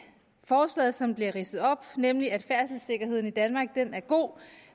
forslaget som bliver ridset op nemlig at færdselssikkerheden i danmark er god